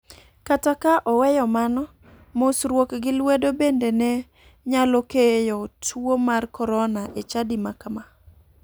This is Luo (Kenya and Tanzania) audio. Kata ka oweyo mano, mosruok gi lwedo bende ne nyalo keyo tuo mar korona e chadi ma kama.